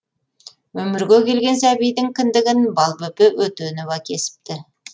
өмірге келген сәбидің кіндігін балбөпе өтенова кесіпті